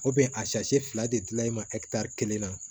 a fila de gilani ma kelen na